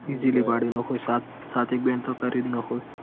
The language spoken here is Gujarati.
Easly કદી નાખોય સાત સાત એક બેન્ડ તો કરી જ નાખોય.